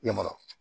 I ma